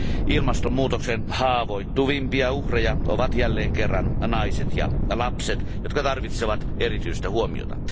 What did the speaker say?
Ilmastonmuutoksen haavoittuvimpia uhreja ovat jälleen kerran naiset ja lapset, jotka tarvitsevat erityistä huomiota.